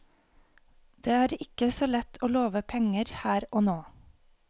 Det er ikke så lett å love penger her og nå.